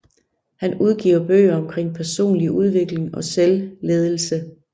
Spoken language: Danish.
Han udgiver bøger omkring personlig udvikling og selvledelse